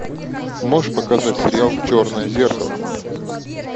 можешь показать сериал черное зеркало